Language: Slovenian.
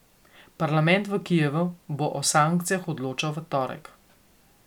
Parlament v Kijevu bo o sankcijah odločal v torek.